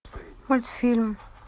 мультфильм